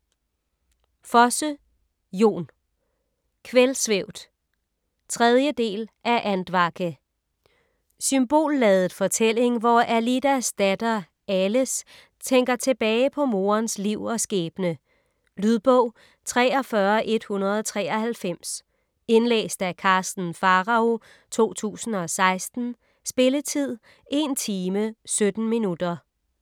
Fosse, Jon: Kveldsvævd 3. del af Andvake. Symbolladet fortælling, hvor Alidas datter Ales tænker tilbage på morens liv og skæbne. . Lydbog 43193 Indlæst af Karsten Pharao, 2016. Spilletid: 1 timer, 17 minutter.